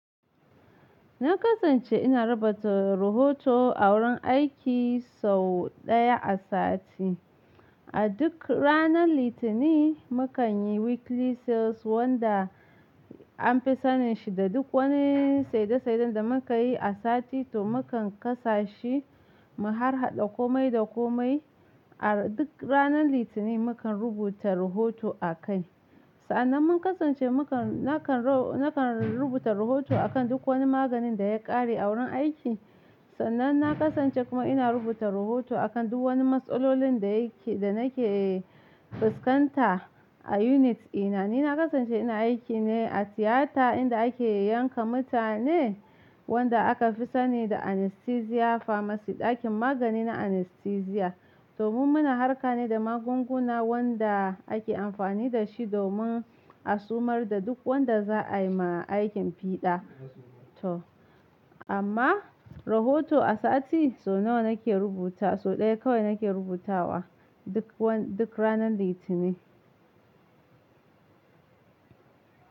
Na kasance ina rubuta rohoto a wurin aiki sau ɗaya a sati. A duk ranar Litinin mukanyi weekly sales wanda an fi sanin shi da duk wani saide saiden da muka yi a sati to mukan kasa shi mu harhaɗa komai da komai a duk ranar Litinin mukan rubuta rohoto akai. Sa'annan mun kasance nakan rubuta rohoto akan duk wani maganin da ya ƙare a wurin aiki. Sannan na kasance kuma ina rubuta rahoto akan duk wani matsalolin da nake fuskanta a unit dina. Ni na kasance ina aiki ne a tiyata inda ake yanka mutane wanda aka fi sani da anesthesia pharmacy ɗakin magani na anesthesia. Domin muna harka ne da magunguna wanda ake amfani da shi domin a sumar da duk wanda za'a yi ma aikin fiɗa to amma rohoto a sati sau nawa nake rubuta sau ɗaya kawai nake rubutawa duk duk ranar Litinin.